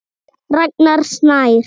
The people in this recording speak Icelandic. Ragnar Snær.